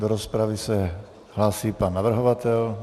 Do rozpravy se hlásí pan navrhovatel.